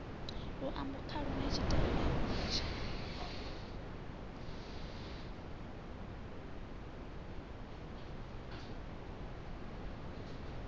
luambo khalo na tshitaila hunzhi